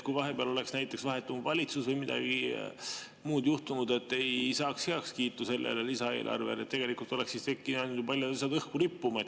Kui vahepeal oleks näiteks vahetunud valitsus või midagi muud juhtunud, et ei saaks heakskiitu sellele lisaeelarvele, siis tegelikult olekski jäänud paljud asjad õhku rippuma.